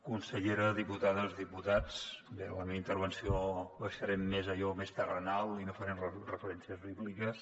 consellera diputades diputats en la meva intervenció baixarem més a allò més terrenal i no farem referències bíbliques